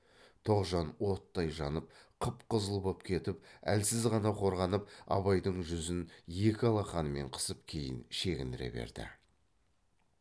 тоғжан оттай жанып қып қызыл боп кетіп әлсіз ғана қорғанып абайдың жүзін екі алақанымен қысып кейін шегіндіре берді